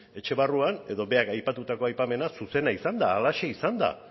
etxe barruan edo berak aipatuta aipamena zuzena izan da halaxe izan da